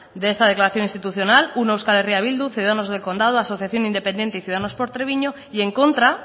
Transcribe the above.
de esta declaración institucional uno euskal herria bildu ciudadanos del condado asociación independiente y ciudadanos por treviño y en contra